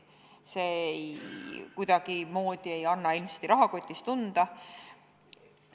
See ei anna inimeste rahakotis mitte kuidagimoodi tunda.